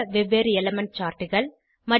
வெவ்வேறு எலிமெண்ட் chartகள் 2